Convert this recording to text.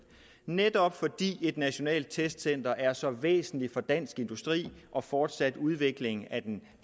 netop fordi et nationalt testcenter er så væsentligt for dansk industri og fortsat udvikling af